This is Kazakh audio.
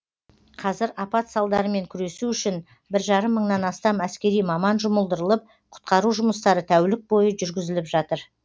қазір апат салдарымен күресу үшін бір жарым мыңнан астам әскери маман жұмылдырылып құтқару жұмыстары тәулік бойы жүргізіліп жатыр